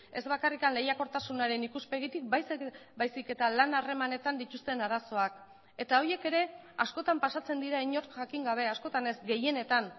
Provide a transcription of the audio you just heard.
ez bakarrik lehiakortasunaren ikuspegitik baizik eta lan harremanetan dituzten arazoak eta horiek ere askotan pasatzen dira inork jakin gabe askotan ez gehienetan